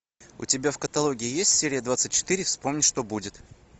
у тебя в каталоге есть серия двадцать четыре вспомнить что будет